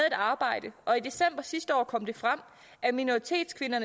arbejde og i december sidste år kom det frem at minoritetskvinder